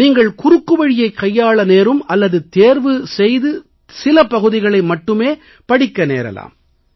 நீங்கள் குறுக்குவழியைக் கையாள நேரும் அல்லது தேர்வு செய்து சில பகுதிகளை மட்டுமே படிக்க நேரலாம்